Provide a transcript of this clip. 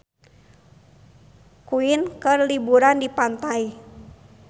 Queen keur liburan di pantai